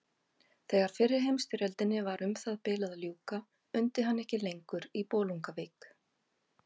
Þegar fyrri heimsstyrjöldinni var um það bil að ljúka undi hann ekki lengur í Bolungarvík.